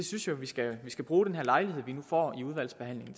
synes at vi skal skal bruge den her lejlighed vi nu får i udvalgsbehandlingen